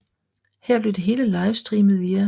Her blev det hele livestreamet via